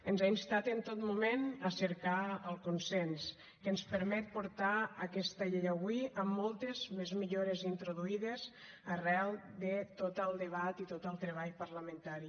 ens ha instat en tot moment a cercar el consens que ens permet portar aquesta llei avui amb moltes més millores introduïdes arran de tot el debat i tot el treball parlamentari